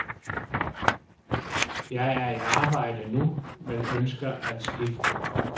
Jeg er i arbejde nu, men ønsker at skifte.